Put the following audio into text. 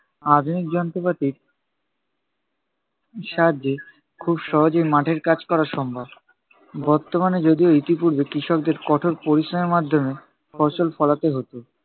আধুনিক যন্ত্রপাতির সাহায্যে খুব সহজেই মাঠের কাজ করা সম্ভব। বর্তমানে যদিও ইতিপূর্বে কৃষকদের কঠোর পরিশ্রমের মাধ্যমে ফসল ফলাতে হতো।